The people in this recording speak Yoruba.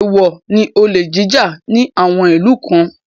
Èèwọ̀ ni olè jíjà ní àwọn ìlú kan